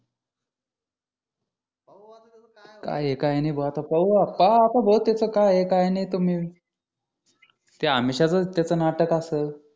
काय नाही काय आहे भाऊ आता पाहू पहा आता भाऊ त्याचं काय आहे काय नाही तुम्ही ते अमिषाचच त्याचं नाटक असल